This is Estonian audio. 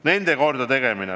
Need majad tuleb korda teha.